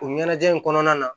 O ɲɛnajɛ in kɔnɔna na